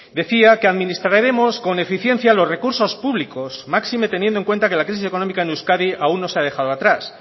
decía que administraremos con eficiencia los recursos públicos máxime teniendo en cuenta que la crisis económica en euskadi aún no se ha dejado atrás